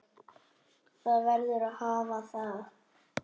Það verður að hafa það.